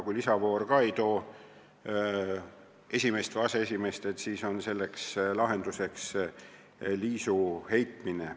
Kui lisavoor ka ei selgita esimeest või aseesimeest välja, siis on lahenduseks liisuheitmine.